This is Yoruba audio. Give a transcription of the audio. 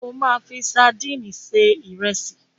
O máa fi sadíìnì se ìrẹsì.